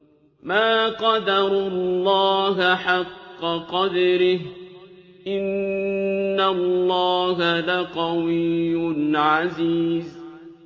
مَا قَدَرُوا اللَّهَ حَقَّ قَدْرِهِ ۗ إِنَّ اللَّهَ لَقَوِيٌّ عَزِيزٌ